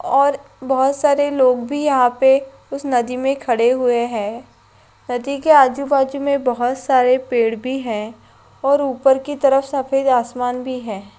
और बहुत सारे लोग भी यहाँ पे उस नदी में खड़े हुए है नदी के आजु-बाजु में बहुत सारे पेड़ भी है और ऊपर की तरफ सफ़ेद आसमान भी है।